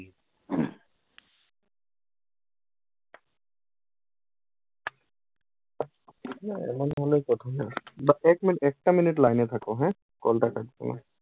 এমন হলে প্রথমে বা এক minute একটা minute line এ থাকো হ্যাঁ। কলটা কাটিও না।